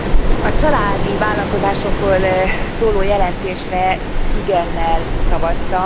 A családi vállalkozásokról szóló jelentésre igennel szavaztam.